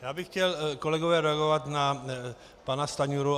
Já bych chtěl, kolegové, reagovat na pana Stanjuru.